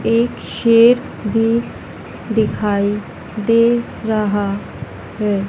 एक शेर भी दिखाई दे रहा है।